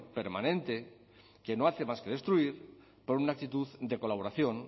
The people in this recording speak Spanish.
permanente que no hace más que destruir por una actitud de colaboración